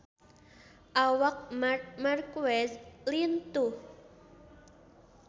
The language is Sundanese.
Awak Marc Marquez lintuh